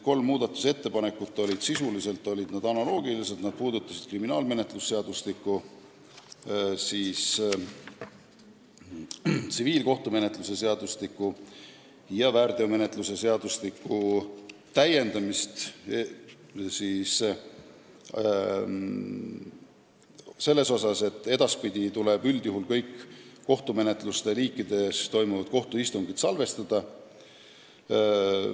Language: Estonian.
Need olid sisuliselt analoogilised ning puudutasid kriminaalmenetluse seadustiku, tsiviilkohtumenetluse seadustiku ja väärteomenetluse seadustiku täiendamist selles osas, et edaspidi tuleb üldjuhul kõik mis tahes liiki kohtumenetluses toimuvad kohtuistungid salvestada.